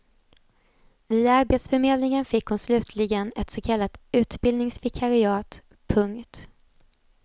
Via arbetsförmedlingen fick hon slutligen ett så kallat utbildningsvikariat. punkt